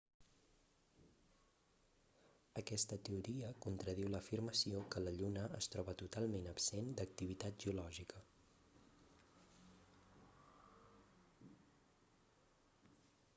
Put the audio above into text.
aquesta teoria contradiu l'afirmació que la lluna es troba totalment absent d'activitat geològica